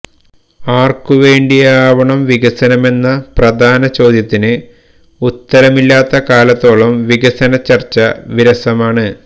ആര്ക്കു വേണ്ടിയാവണം വികസനമെന്ന പ്രധാന ചോദ്യത്തിന് ഉത്തരമില്ലാത്ത കാലത്തോളം വികസനചര്ച്ച വിരസമാണ്